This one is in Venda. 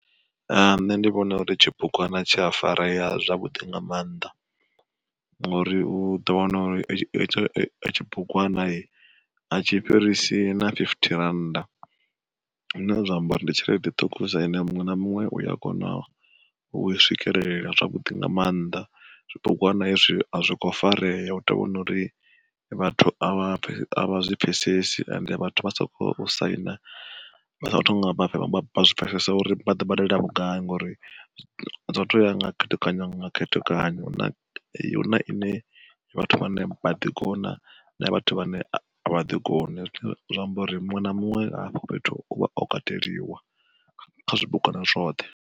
Nṋe ndi vhona uri tshibugwana tsha fareya zwavhuḓi nga maanḓa, ngori u ḓo wana uri hetsho tshibugwana a tshi fhirisi na fifty rannda. Zwine zwa amba uri ndi tshelede ṱhukhusa ine muṅwe na muṅwe uya kona ui swikelela zwavhuḓi nga maanḓa. Tshibugwana hezwi azwi kho farea u tou vhori vhathu a vha a vha zwi pfhesesi ende vhathu vha soko saina, vha songo thoma vha zwi pfesesa uri vha ḓo badela vhugai ngori zwo to ya nga khethekanyo nga khethekanyo. Huna ine vhathu vhane baḓi kona, na vhathu vha ne avha ḓi koni zwi amba uri muṅwe na muṅwe hafho fhethu uvha o kateliwa, kha zwibugwana zwoṱhe.